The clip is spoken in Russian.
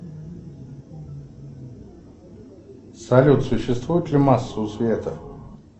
салют существует ли масса у света